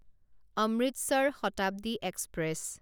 Amritsar Shatabdi express